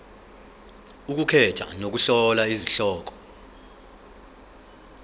ukukhetha nokuhlola izihloko